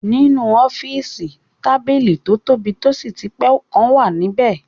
Nínú ọ́fìsì, tábìlì tó tóbi tó sì ti pé kan wà níbẹ